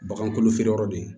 Bagan kolo feere yɔrɔ de ye